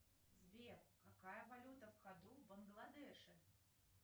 джой существовал ли настоящий дед мороз